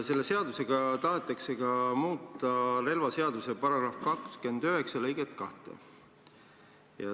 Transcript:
Selle seadusega tahetakse ka muuta relvaseaduse § 29 lõiget 2.